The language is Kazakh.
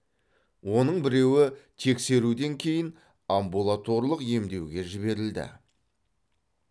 оның біреуі тексеруден кейін амбулаторлық емдеуге жіберілді